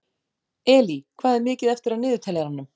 Elí, hvað er mikið eftir af niðurteljaranum?